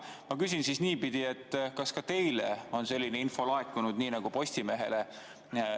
Ma küsin siis niipidi, kas ka teile on selline info laekunud nii nagu Postimehele.